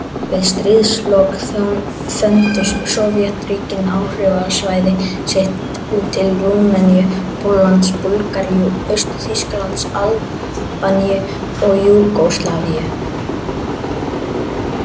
Við stríðslok þöndu Sovétríkin áhrifasvæði sitt út til Rúmeníu, Póllands, Búlgaríu, Austur-Þýskalands, Albaníu og Júgóslavíu.